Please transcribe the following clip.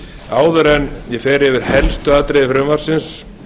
áður en ég fer yfir helstu atriði frumvarpsins